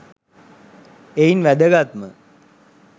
එයින් වැදගත්ම